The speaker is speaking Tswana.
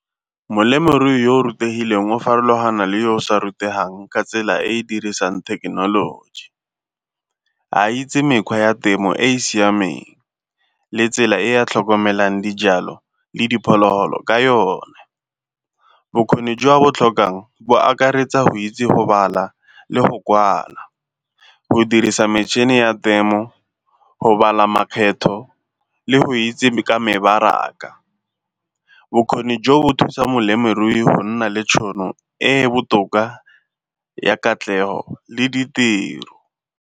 Molemirui yo rutegileng o farologana le yo o sa rutegang ka tsela e e dirisang thekenoloji. A itse mekgwa ya temo e e siameng le tsela e a tlhokomelang dijalo le diphologolo ka yone. Bokgoni jo a bo tlhokang bo akaretsa go itse go bala le go kwala, go dirisa metšhini ya temo, go bala makgetho le go itse ka mebaraka. Bokgoni jo bo thusa molemirui go nna le tšhono e e botoka ya katlego le ditiro.